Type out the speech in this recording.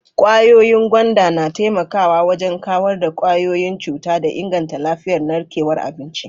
Kwayoyin gwanda na taimakawa wajen kawar da kwayoyin cuta da inganta lafiyar narkewar abinci.